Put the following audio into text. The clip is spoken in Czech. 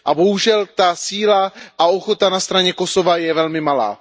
A bohužel ta síla a ochota na straně Kosova je velmi malá.